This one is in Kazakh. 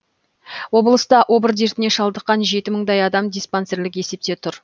облыста обыр дертіне шалдыққан жеті мыңдай адам диспансерлік есепте тұр